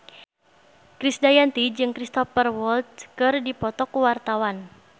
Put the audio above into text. Krisdayanti jeung Cristhoper Waltz keur dipoto ku wartawan